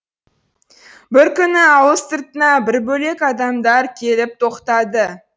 бір күні ауыл сыртына бір бөлек адамдар келіп тоқтады